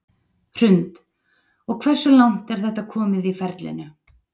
Hrund: Og hversu langt er þetta komið í ferlinu?